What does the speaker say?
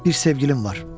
Bir sevgilim var.